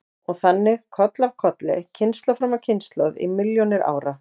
Og þannig koll af kolli, kynslóð fram af kynslóð í milljónir ára.